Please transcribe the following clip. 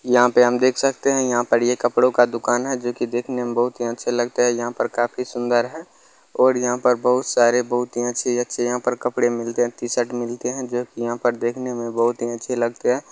यहाँ पे हम देख सकते है यहाँ पर ये कपड़ो का दुकान है जो की देखने में बहुत ही अच्छे लगते है। यहाँ पर काफी सुन्दर है और यहाँ पर बहुत सारे बहुत ही अच्छे -अच्छे यहाँ पर कपड़े मिलते हैं टीशर्ट मिलते हैं जो की यहाँ पर देख ने में बहुत ही अच्छे लगते है।